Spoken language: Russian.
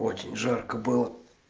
очень жарко было